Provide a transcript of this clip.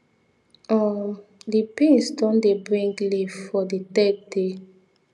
um di beans don dey bring leaf for di third day